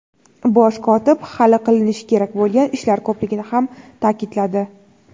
Bosh kotib hali qiinishi kerak bo‘lgan ishlar ko‘pligini ham ta’kidladi.